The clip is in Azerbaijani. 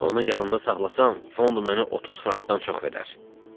Onu yanımda saxlasam, fond mənə 30 frankdan çox verər.